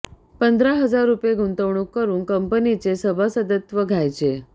पंधरा हजार रुपये गुंतवणूक करून कंपनीचे सभासदत्व घ्यायचे